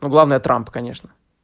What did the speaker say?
ну главное трамп конечно